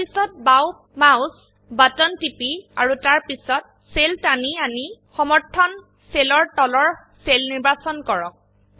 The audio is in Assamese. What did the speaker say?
তাৰপিছত বাও মাউস বাটন টিপি আৰু তাৰপিছত সেলটানি আনি সমৰ্থনসেলৰ তলৰ সেল নিৰ্বাচন কৰক